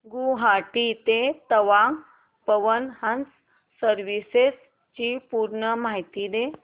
गुवाहाटी ते तवांग पवन हंस सर्विसेस ची पूर्ण माहिती